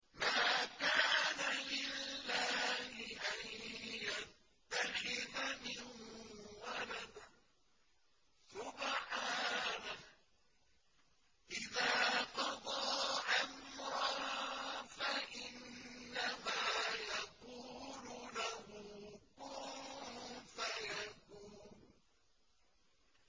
مَا كَانَ لِلَّهِ أَن يَتَّخِذَ مِن وَلَدٍ ۖ سُبْحَانَهُ ۚ إِذَا قَضَىٰ أَمْرًا فَإِنَّمَا يَقُولُ لَهُ كُن فَيَكُونُ